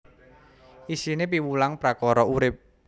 Isiné piwulang prakara urip